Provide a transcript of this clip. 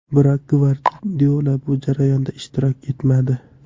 Biroq Gvardiola bu jarayonda ishtirok etmadi.